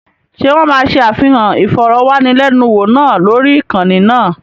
Ṣé wọ́n máa ṣe àfihàn ìfọ̀rọ̀wánilẹ́niwò náà lórí ìkànnì náà?